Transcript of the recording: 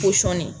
Pɔsɔni